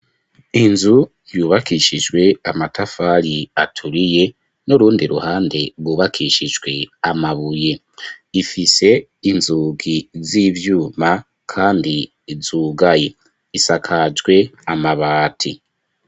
Inzu yubakishijwe amatafari aturiye n'urundi ruhande rwubakishijwe amabuye ifise inzugi z'ivyuma kandi zugaye isakajwe amabati.